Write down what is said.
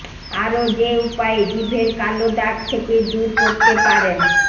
আরও যে উপায়ে জিভের কালো দাগ থেকে দূর করতে পারেন